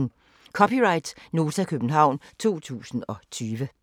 (c) Nota, København 2020